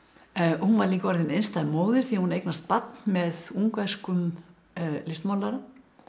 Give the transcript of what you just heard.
hún var líka orðin einstæð móðir því hún eignast barn með ungverskum listmálara